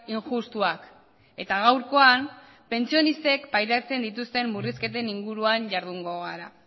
injustuak eta gaurkoan pentsionistek pairatzen dituzten murrizketen inguruan jardungo gara